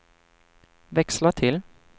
växla till